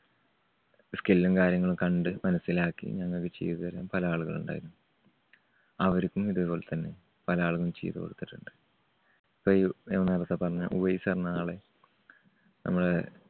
skill ഉം കാര്യങ്ങളും കണ്ട് മനസ്സിലാക്കി ഞങ്ങൾക്ക് ചെയ്തു തരാൻ പല ആളുകളുമുണ്ടായി. അവർക്കും ഇതുപോലെ തന്നെ പല ആളുകളും ചെയ്തുകൊടുത്തിട്ടുണ്ട്. ഞാൻ നേരത്തെ പറഞ്ഞ ഉവൈസ്ന്ന് പറഞ്ഞ ആള് നമ്മളെ